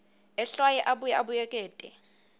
ehlwaye abuye abuyekete